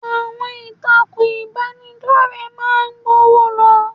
Àwọn ìtàkùn ìbánidọ́rẹ̀ẹ́ máa ń gbọ́nwó lọ.